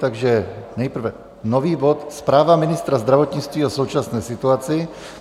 Takže nejprve nový bod - Zpráva ministra zdravotnictví o současné situaci.